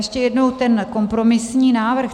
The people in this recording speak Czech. Ještě jednou ten kompromisní návrh.